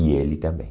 E ele também.